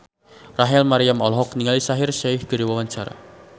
Rachel Maryam olohok ningali Shaheer Sheikh keur diwawancara